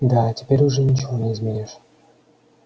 да теперь уже ничего не изменишь